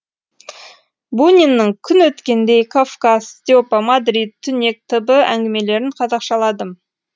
буниннің күн өткендей кавказ степа мадрид түнек т б әңгімелерін қазақшаладым